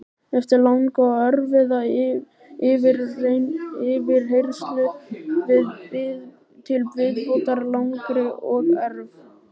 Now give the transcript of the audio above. Eftir langa og erfiða yfirheyrslu til viðbótar langri og erf